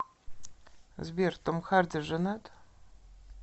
сбер том харди женат